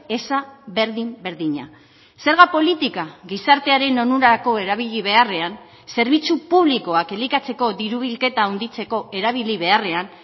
eza berdin berdina zerga politika gizartearen onurako erabili beharrean zerbitzu publikoak elikatzeko diru bilketa handitzeko erabili beharrean